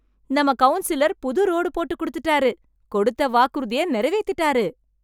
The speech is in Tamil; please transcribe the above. நம்ம கவுன்சிலர் புது ரோடு போட்டு குடுத்துட்டாரு, கொடுத்த வாக்குறுதியை நிறைவேத்தீட்டாரு.